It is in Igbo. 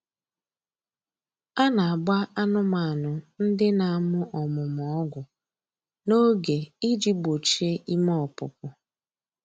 A na-agba anụmanụ ndị na-amụ ọmụmụ ọgwụ n'oge iji gbochie ime ọpụpụ